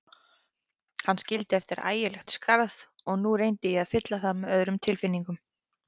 Hann skildi eftir ægilegt skarð og nú reyndi ég að fylla það með öðrum tilfinningum.